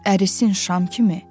ərisin şam kimi,